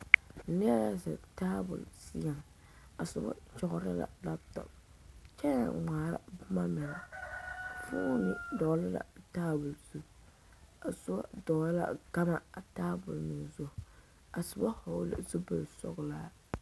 Neɛ la zeŋ tabol seɛŋ a soba kyɔgrɔ la laatɔ kyɛ naŋ ŋmaara boma mine fooni tɔgele la a taabol zu a soba tɔgele la gama a tabol zu a soba hɔgele la zupili sɔglaa